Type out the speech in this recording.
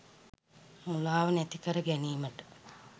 මුලාව නැති කර ගැනීමට